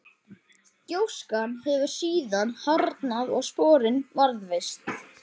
gjóskan hefur síðan harðnað og sporin varðveist